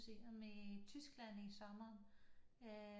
I Tyskland i sommer øh